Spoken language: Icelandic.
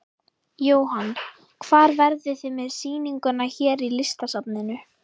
Jóhann: Hvar verðið þið með sýninguna hér í Listasafninu?